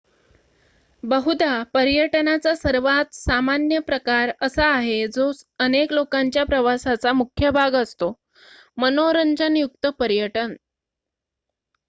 बहुधा पर्यटनाचा सर्वात सामान्य प्रकार असा आहे जो अनेक लोकांच्या प्रवासाचा मुख्य भाग असतो मनोरंजन युक्त पर्यटन